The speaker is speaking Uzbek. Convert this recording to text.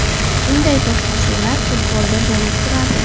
Bunday to‘qnashuvlar futbolda bo‘lib turadi.